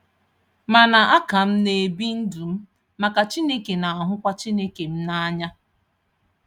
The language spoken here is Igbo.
Mana a ka m na-ebi ndụ m maka Chineke na-ahụkwa Chineke m n'anya